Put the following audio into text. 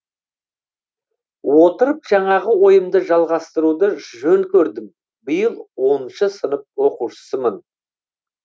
отырып жаңағы ойымды жалғастыруды жөн көрдім биыл оныншы сынып оқушысымын